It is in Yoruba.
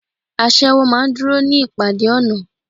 Aṣẹ́wó maá ń dúró ní ìpàdé ọ̀nà